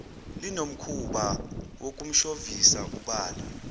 linomkhuba wokumshovisa ubala